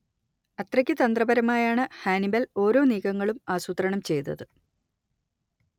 അത്രയ്ക്കു തന്ത്രപരമായാണ് ഹാനിബല്‍ ഒരോ നീക്കങ്ങളും ആസൂത്രണം ചെയ്തത്